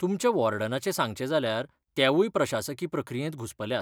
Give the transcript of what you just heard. तुमच्या वॉर्डनाचें सांगचें जाल्यार तेवूय प्रशासकी प्रक्रियेंत घुस्पल्यात.